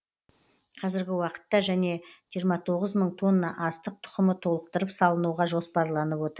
қазіргі уақытта және жиырма тоғыз мың тонна астық тұқымы толықтырып салынуға жоспарланып отыр